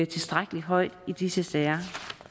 tilstrækkeligt højt i disse sager